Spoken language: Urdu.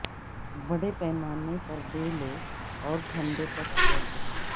بڑے پیمانے پر دے لو اور ٹھنڈے تک چھوڑ دو